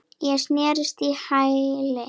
Ég snerist á hæli.